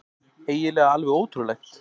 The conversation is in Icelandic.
Eiginlega alveg ótrúlegt.